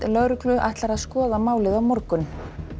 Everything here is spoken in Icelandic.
lögreglu ætlar að skoða málið á morgun